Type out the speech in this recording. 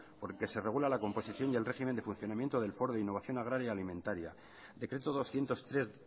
por el que se regula la composición y el régimen de funcionamiento del foro de innovación agraria y alimentaria decreto doscientos tres